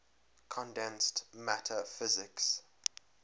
condensed matter physics